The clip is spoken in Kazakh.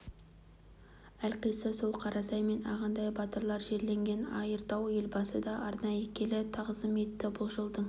әлқисса сол қарасай мен ағынтай батырлар жерленген айыртауға елбасы да арнайы келіп тағзым етті бұл жылдың